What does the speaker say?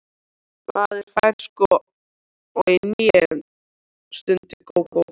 Maður fær sko í hnén, stundi Gógó.